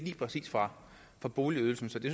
præcis fra boligydelsen så det